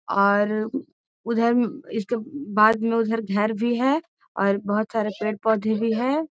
और उधर भी इसके बाद में उधर घर भी है और बहुत सारे पेड़-पौधे भी है।